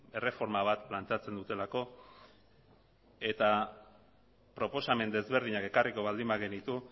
erreforma bat planteatzen dutelako eta proposamen desberdinak ekarriko baldin bagenitu